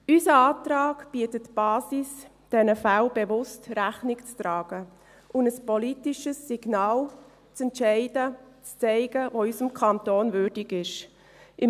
Unser Antrag bietet die Basis dafür, diesen Fällen bewusst Rechnung zu tragen und ein politisches Signal auszusenden, welches unseres Kantons würdig ist.